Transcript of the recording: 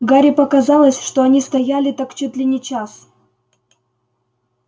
гарри показалось что они стояли так чуть ли не час